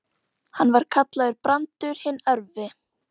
Hann var kallaður Brandur hinn örvi.